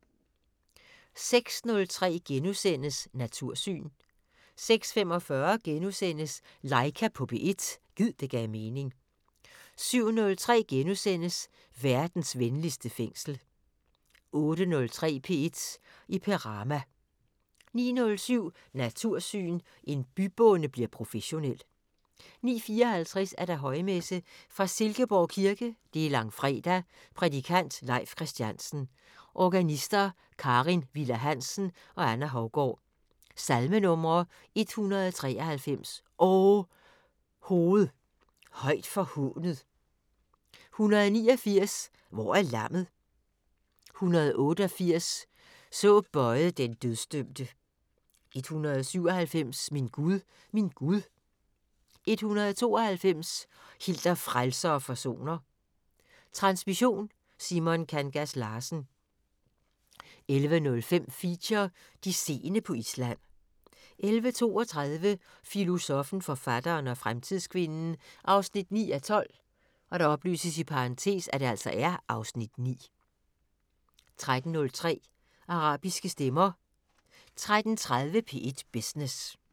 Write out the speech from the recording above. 06:03: Natursyn * 06:45: Laika på P1 – gid det gav mening * 07:03: Verdens venligste fængsel * 08:03: P1 i Perama 09:07: Natursyn: En bybonde bliver professionel 09:54: Højmesse - fra Silkeborg Kirke. Langfredag. Prædikant: Leif Kristiansen. Organister: Karin Viller Hansen og Anna Hougaard. Salmenumre: 193: "O hoved højt forhånet". 189: " Hvor er lammet ". 188: "Så bøjed den dødsdømte". 197: "Min Gud, min Gud". 192: " Hil dig frelser og forsoner". Transmission: Simon Kangas Larsen. 11:05: Feature: De seende på Island 11:32: Filosoffen, forfatteren og fremtidskvinden 9:12 (Afs. 9) 13:03: Arabiske stemmer 13:30: P1 Business